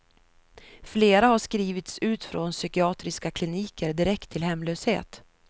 Flera har skrivits ut från psykiatriska kliniker direkt till hemlöshet.